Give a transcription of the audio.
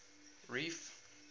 reef